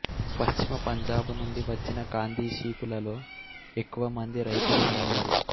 పశ్చిమ పంజాబు నుంచి వచ్చిన కాందిశీకులలో ఎక్కువ మంది రైతులు ఉన్నారు